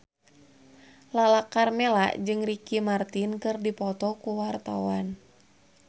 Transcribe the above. Lala Karmela jeung Ricky Martin keur dipoto ku wartawan